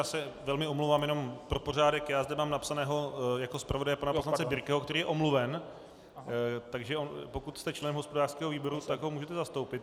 Já se velmi omlouvám, jenom pro pořádek - já zde mám napsaného jako zpravodaje pana poslance Birkeho, který je omluven, takže pokud jste členem hospodářského výboru, tak ho můžete zastoupit.